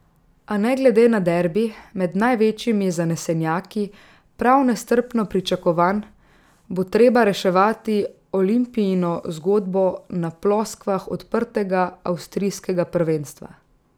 A ne glede na derbi, med največjimi zanesenjaki prav nestrpno pričakovan, bo treba reševati Olimpijino zgodbo na ploskvah odprtega avstrijskega prvenstva.